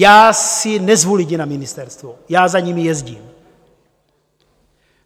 Já si nezvu lidi na ministerstvo, já za nimi jezdím.